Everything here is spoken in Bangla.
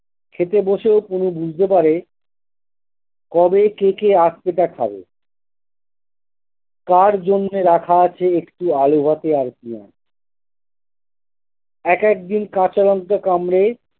খেতে বসেও পুলু বুঝতে পারে কবে থেকে আজ সেটা খাবে কার জন্যে রাখা আছে একটি আলু ভাতে আর পেঁয়াজ এক একদিন কাঁচা লঙ্কা কামড়ে।